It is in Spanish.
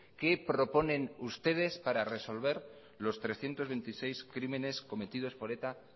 qué proponen ustedes para resolver los trescientos veintiséis crímenes cometidos por eta